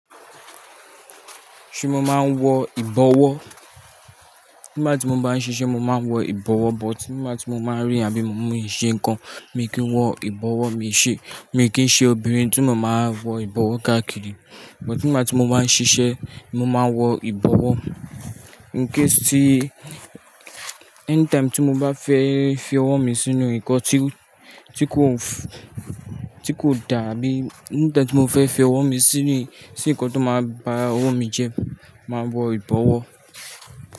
Ṣé mo máa ń wọ ìbọwọ́? Nígbà tí mo bá ń ṣiṣẹ́, mo máa ń wọ ìbọwọ́, but nígbà tí mo máa rìn àbí mo mú ìṣe nǹkan, mi kì í wọ ìbọwọ́, mi kì í ṣe obìnrin tí mo máa wọ ìbọwọ́ káàkiri. But nígbà tí mo bá ń ṣiṣẹ́, mo máa wọ ìbọwọ́. In case tì, anytime tí mo bá fẹ́ fi ọwọ́ mi sínú nǹkan tí kò dá àbí anytime tí mo fẹ́ fi ọwọ́ mi sínú nǹkan tó máa bá ọwọ́ mi jẹ, màá wọ ìbọwọ́.